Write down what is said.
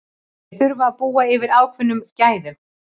Þeir þurfa að búa yfir ákveðnum gæðum.